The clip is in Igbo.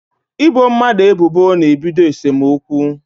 Ị bo mmadụ ebubo na-ebido esemokwu